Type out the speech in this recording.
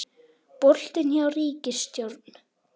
Boltinn hjá ríkisstjórn